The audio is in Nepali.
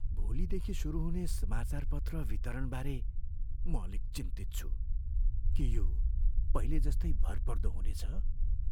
भोलिदेखि सुरु हुने समाचारपत्र वितरणबारे म अलिक चिन्तित छु। के यो पहिले जस्तै भरपर्दो हुनेछ?